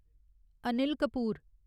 Anil Kapoor